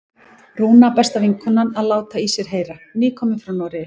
Rúna, besta vinkonan, að láta í sér heyra, nýkomin frá Noregi!